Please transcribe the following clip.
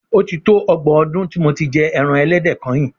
O ti tó ọgbọ̀n ọdún tí mo ti jẹ ẹran ẹlẹ́dẹ̀ kányìn.